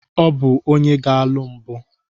Ọ bụ onye ga-alụ mbụ.